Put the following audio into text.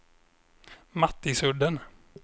Mattisudden